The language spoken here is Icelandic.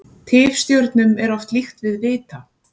Tifstjörnum er oft líkt við vita.